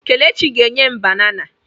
Kelechi ga enyem banana.